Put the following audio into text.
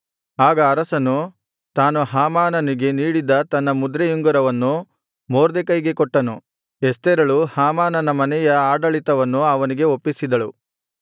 ಆಗ ಅರಸನು ತಾನು ಹಾಮಾನನಿಗೆ ನೀಡಿದ್ದ ತನ್ನ ಮುದ್ರೆಯುಂಗುರವನ್ನು ಮೊರ್ದೆಕೈಗೆ ಕೊಟ್ಟನು ಎಸ್ತೇರಳು ಹಾಮಾನನ ಮನೆಯ ಆಡಳಿತವನ್ನು ಅವನಿಗೆ ಒಪ್ಪಿಸಿದಳು